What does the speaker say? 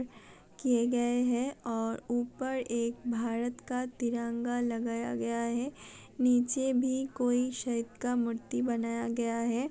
किये गए है और ऊपर एक भारत का तिरंगा लगाया गया है निचे भी कोई शहीद का मूर्ति बनाया गया है।